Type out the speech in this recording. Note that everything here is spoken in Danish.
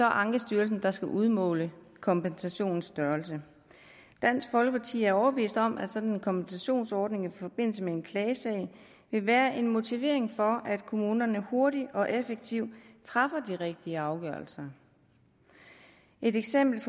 ankestyrelsen der skal udmåle kompensationens størrelse dansk folkeparti er overbevist om at sådan en kompensationsordning i forbindelse med en klagesag vil være en motivation for kommunerne til hurtigt og effektivt at træffe de rigtige afgørelser et eksempel